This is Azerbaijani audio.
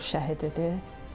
Antiterror şəhididir.